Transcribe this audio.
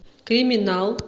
криминал